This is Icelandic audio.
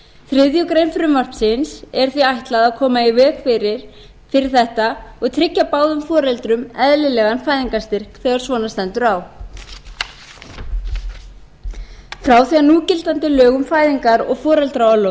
þriðju grein frumvarpsins er því ætlað að koma í veg fyrir þetta og tryggja báðum foreldrum eðlilegan fæðingarstyrk þegar svona stendur á frá því að núgildandi lög um fæðingar og foreldraorlof